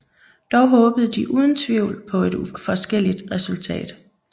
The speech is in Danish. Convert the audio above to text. Dog håbede de uden tvivl på et forskelligt resultat